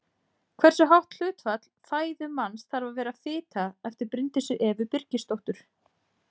Hversu hátt hlutfall fæðu manns þarf að vera fita eftir Bryndísi Evu Birgisdóttur.